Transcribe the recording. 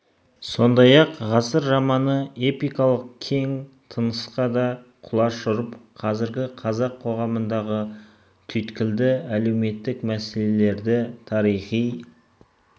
сондай-ақ ғасыр романы эпикалық кең тынысқа да құлаш ұрып қазіргі қазақ қоғамындағы түйткілді әлеуметтік мәселелерді тарихи